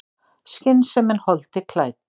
Skynsemin holdi klædd.